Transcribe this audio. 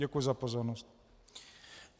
Děkuji za pozornost.